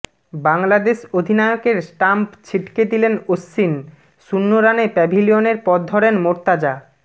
বাংলাদেশ অধিনায়কের স্টাম্প ছিটকে দিলেন অশ্বিন শূন্য রানে প্যাভিলিয়নের পথ ধরেন মোর্তাজা